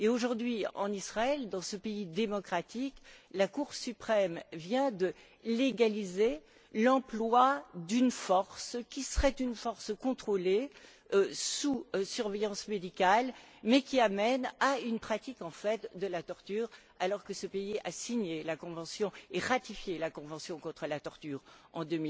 Aujourd'hui, en Israël, dans ce pays démocratique, la Cour suprême vient de légaliser l'emploi d'une force qui serait une force contrôlée sous surveillance médicale mais qui amène à une pratique, en fait, de la torture, alors que ce pays a signé et ratifié la convention contre la torture en